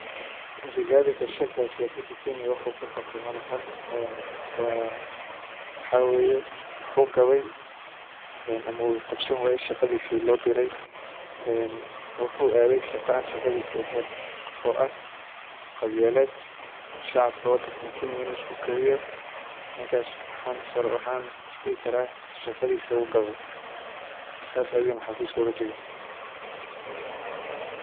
Rigathi Gachagua siyasada kenya wuxu ka qabte malahan, wuxu gabey shaqadi lo dire wuxu aday shaqan shaqadisi ehen oh aah qabyalad ,shacabka wadankan kenya inu isku kiciyo. Ninkas waxan is dhihi kara shaqadisi wu gabay sas ayuna xafiska oga tagay.